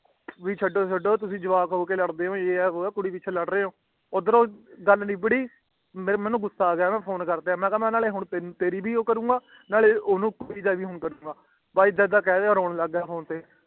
ਵੀ ਛੱਡੋ ਛੱਡੋ ਤੁਸੀ ਜਵਾਕ ਹੂਕੇ ਲੜਦੇ ਹੋ ਉਹ ਵੀ ਕੁੜੀ ਪਿੱਛੇ ਲਾਡ ਰਾਏ ਹੋ ਊਧਰੂ ਗੱਲ ਨਿੱਬੜੀ ਮੇਨੂ ਗੁੱਸਾ ਆ ਗਯਾ ਮੈਂ ਕਿਹਾ ਕਿ ਹੋਣ ਤੇਰੀ ਵੀ ਉਹ ਕਰੂੰਗਾ ਤੇ ਉਹਦੀ ਵੀ ਭਾਈ ਇੱਦਾ ਕਹਿਣ ਲਾਗਯਾ ਤੇ ਰੋਣ ਲਾਗਯਾ ਫੋਨ ਤੇ